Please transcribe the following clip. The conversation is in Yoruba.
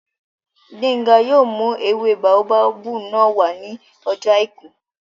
Gbénga yóò mú ewé báóbábù náà wá ní ọjọ́ àìkú